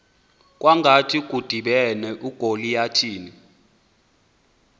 kwangathi kudibene ugoliyathi